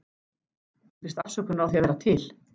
Ég biðst afsökunar á því að vera til.